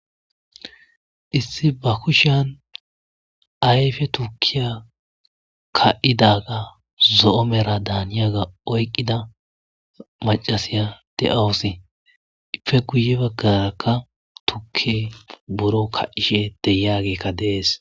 issi ba kushan ayfe tukiya ka7idaga zo7omera daaniyaga oyqqida macasiya de7awussi ife guye baggarakka tukke buro ka ishe de yagekka deees